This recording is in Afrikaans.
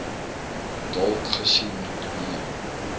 dalk gesien nee